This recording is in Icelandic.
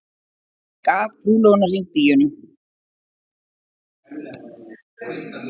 Gaf trúlofunarhring Díönu